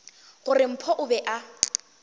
gore mpho o be a